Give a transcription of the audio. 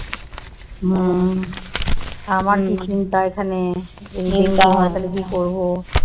হম আমার কি চিন্তা এখানে?